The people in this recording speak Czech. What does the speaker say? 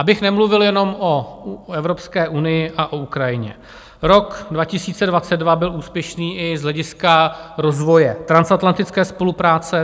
Abych nemluvil jenom o Evropské unii a o Ukrajině, rok 2022 byl úspěšný i z hlediska rozvoje transatlantické spolupráce.